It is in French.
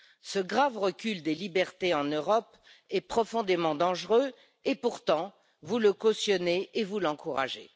Ce grave recul des libertés en Europe est profondément dangereux et pourtant vous le cautionnez et vous l'encouragez.